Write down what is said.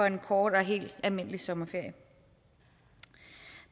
en kort og helt almindelig sommerferie